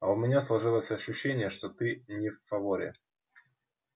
а у меня сложилось ощущение что ты не в фаворе